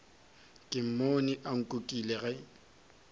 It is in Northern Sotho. ke mmone a nkukile ge